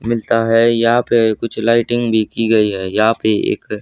मिलता है यहां पे कुछ लाइटिंग भी की गई है यहां पे एक--